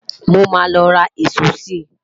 mọ má ló rà ìsọ si